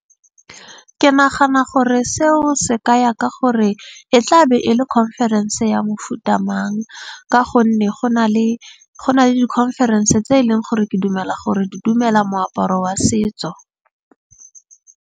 Ke nagana gore seo se ka ya ka gore e tla be e le conference ya mofuta mang. Ka gonne go na le di-conference tse e leng gore ke dumela gore di dumela moaparo wa setso.